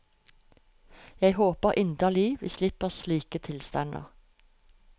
Jeg håper inderlig vi slipper slike tilstander.